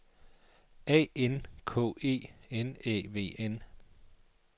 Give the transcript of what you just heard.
A N K E N Æ V N